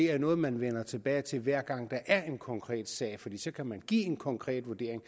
er det noget man vender tilbage til hver gang der er en konkret sag for så kan man give en konkret vurdering